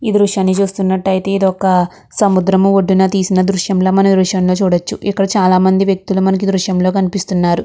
ఈ దృశ్యాన్ని చూస్తునట్టు అయితే ఇది ఒక సముద్రపు ఒడ్డున తీసిన దృశ్యం ల మనం ఈ దృశ్యం లో చూడచ్చు. ఇక్కడ చాల మంది వ్యక్తులు మనకి దృశ్యం లో కనిపిస్తున్నారు.